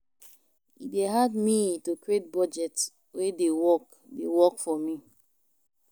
E dey hard me to create budget wey dey work dey work for me.